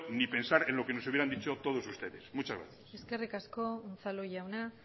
ni pensar en lo que nos hubieran dicho todos ustedes muchas gracias eskerrik asko unzalu jauna